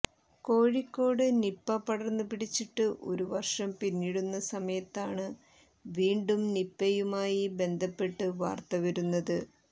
Kozhikode Nipah പടര്ന്നു പിടിച്ചിട്ട് ഒരു വര്ഷം പിന്നിടുന്ന സമയത്താണ് വീണ്ടും നിപയുമായി ബന്ധപ്പെട്ട് വാര്ത്ത വരുന്നത്